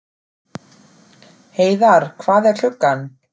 Heiðar, hvað er klukkan?